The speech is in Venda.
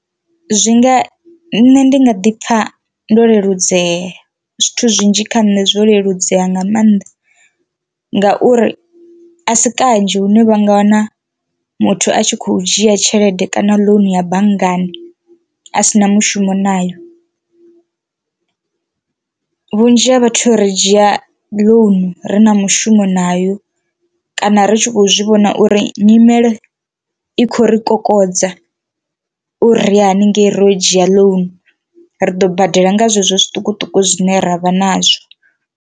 Zwi nga nṋe ndi nga ḓi pfha ndo leludzea zwithu zwinzhi kha nṋe zwo leludzea nga maanḓa ngauri a si kanzhi hune vha nga wana muthu a tshi kho dzhia tshelede kana ḽounu ya banngani a si na mushumo nayo. Vhunzhi ha vhathu ri dzhia loan ri na mushumo nayo kana ri tshi kho zwivhona uri nyimele i khou ri kokodza uri ri ya haningei ro dzhia ḽounu, ri ḓo badela nga zwezwo zwiṱukuṱuku zwine ravha nazwo.